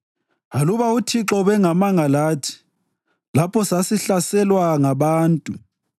aluba uThixo ubengemanga lathi, lapho sasihlaselwa ngabantu,